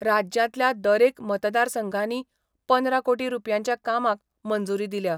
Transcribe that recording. राज्यांतल्या दरएक मतदारसंघांनी पंदरा कोटी रूपयांच्या कामांक मंजूरी दिल्या.